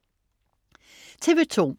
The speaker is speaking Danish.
TV2: